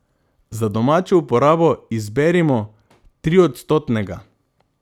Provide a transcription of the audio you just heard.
Za domačo uporabo izberimo triodstotnega.